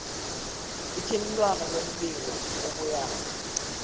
ithintwano lombiko obuyako